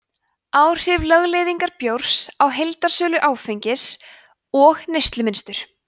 áhrif lögleiðingar bjórs á heildarsölu áfengis og neyslumynstur